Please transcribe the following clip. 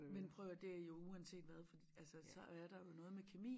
Men prøv at høre det jo uanset hvad fordi altså så er der jo noget med kemi